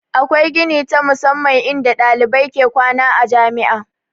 Akwai gini ta musamman in da ɗalibai ke kwana a jami'a